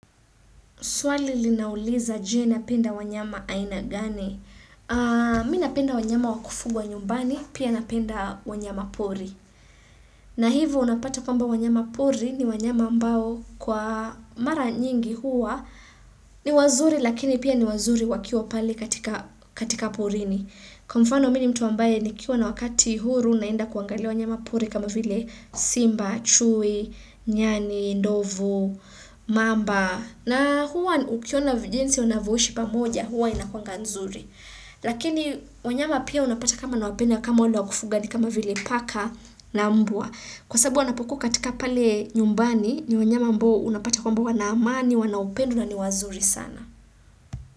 Swali linauliza je napenda wanyama ainagani. Mi napenda wanyama wakufugwa nyumbani, pia napenda wanyama pori. Na hivyo unapata kwamba wanyama pori ni wanyama ambao kwa mara nyingi huwa ni wazuri lakini pia ni wazuri wakiwa pale katika porini. Kwa mfano mini mtu a mbae ni kiwa na wakati huru naenda kuangalia wanyama pori kama vile simba, chui, nyani, ndovu, mamba. Na huwa ukiona vijinsi unavyoishi pamoja, huwa inakwanga nzuri. Lakini wanyama pia unapata kama na wapenda kama wale wa kufuga ni kama vile paka na mbwa. Kwa sababu wanapokuwa katika pale nyumbani ni wanyama ambao unapata kwa amb wa na amani, wanaupendo ni wazuri sana.